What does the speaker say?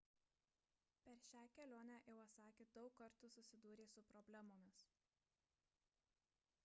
per šią kelionę iwasaki daug kartų susidūrė su problemomis